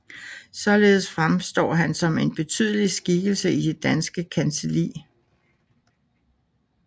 Således fremstår han som en betydelig skikkelse i det danske kancelli